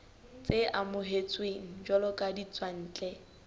tse amohetsweng jwalo ka ditswantle